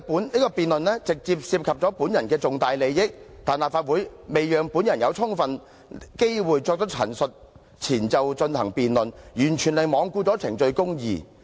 這項辯論直接涉及本人的重大利益，但立法會在未讓本人有充分機會作出陳述前就進行辯論，完全是罔顧程序公義。